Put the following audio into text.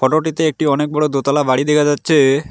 Photo -টিতে একটি অনেক বড়ো দোতলা বাড়ি দেখা যাচ্ছে।